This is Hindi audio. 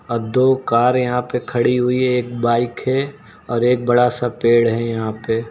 अ दो कार यहां पे खड़ी हुई है। एक बाइक है और एक बड़ा सा पेड़ है यहां पे।